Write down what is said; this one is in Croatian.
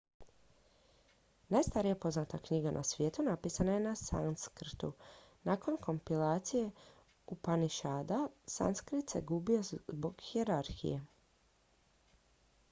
najstarija poznata knjiga na svijetu napisana je na sanskrtu nakon kompilacije upanišada sanskrit se gubio zbog hijerarhije